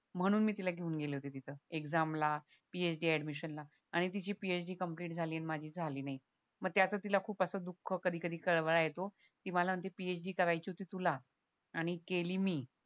म्हणून मी तिला घेऊन गेले होते तिथं एक्सामला PhD ऍडमिशनला आणि तिची PhD कम्प्लिट झाली आणि माझी झाली नाही म ते असं तिला दुःख कधी कधी कळवळा येतो ती मला म्हणते PhD करायची होती तुला आणि केली मी